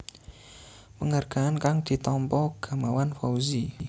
Penghargaan kang ditampa Gamawan Fauzi